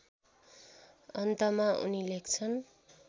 अन्तमा उनी लेख्छन्